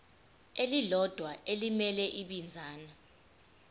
elilodwa elimele ibinzana